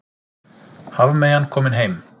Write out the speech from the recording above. Hafmeyjan komin heim